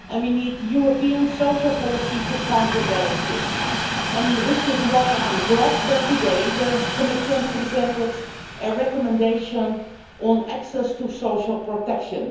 We need European social policy to counterbalance this, which is why I am glad that today the Commission presented a recommendation on access to social protection.